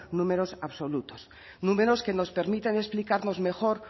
números absolutos números que nos permiten explicarnos mejor